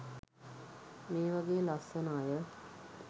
මේ වගේ ලස්සන අය.